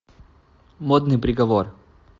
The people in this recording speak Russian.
модный приговор